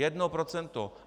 Jedno procento!